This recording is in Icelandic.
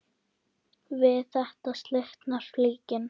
Við þetta slitnar flíkin.